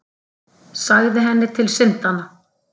Sagði henni til syndanna.